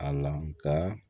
A la